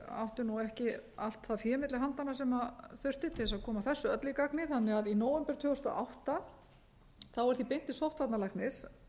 áttum ekki allt það fé milli handanna sem þurfti til þess að koma þessu öllu í gagnið þannig að í nóvember tvö þúsund og átta var því beint til sóttvarnalæknis